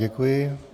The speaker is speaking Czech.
Děkuji.